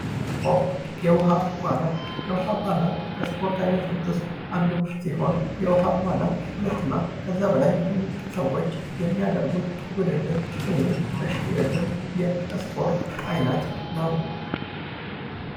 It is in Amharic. ስፖርት፤ የውሃ ዋና፦ የውሃ ዋና ከስፖርት አይነቶች ውስጥ አንዱ ሲሆን የውሃ ዋና ሁለትና ከዚያ በላይ የሆኑ ሰወች የሚያደርጉት ውድድር ወይም እሽቅድድም የስፖርት አይነት ነው።